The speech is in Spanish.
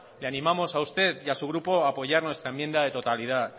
le animamos a usted y a su grupo a apoyar nuestra enmienda de totalidad